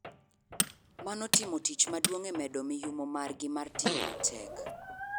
Mano timo tich maduong e medo miyumo mar gi mar tiyo matek.